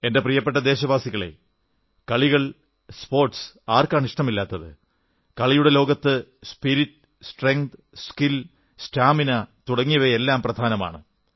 എന്റെ പ്രിയപ്പെട്ട ദേശവാസികളേ കളികൾ സ്പോർട്സ് ആർക്കാണ് ഇഷ്ടമില്ലാത്തത് കളിയുടെ ലോകത്ത് സ്പിരിറ്റ് സ്ട്രെങ്ത് സ്കിൽ സ്റ്റാമിന തുടങ്ങിയവയെല്ലാം പ്രധാനമാണ്